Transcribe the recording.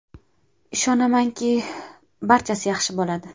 Ishonamanki, barchasi yaxshi bo‘ladi.